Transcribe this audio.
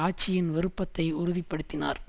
ஆட்சியின் விருப்பத்தை உறுதிப்படுத்தினார்